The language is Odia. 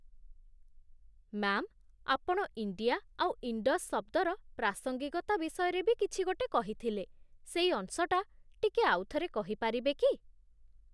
ମ୍ୟା'ମ୍, ଆପଣ 'ଇଣ୍ଡିଆ' ଆଉ 'ଇଣ୍ଡସ୍' ଶବ୍ଦର ପ୍ରାସଙ୍ଗିକତା ବିଷୟରେ ବି କିଛି ଗୋଟେ କହିଥିଲେ, ସେଇ ଅଂଶଟା ଟିକେ ଆଉଥରେ କହିପାରିବେ କି?